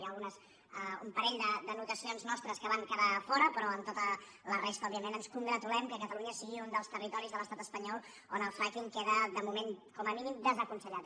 hi ha un parell d’anotacions nostres que van quedar fora però en tota la resta òbviament ens congratulem que catalunya sigui un dels territoris de l’estat espanyol on el frackingcom a mínim desaconsellat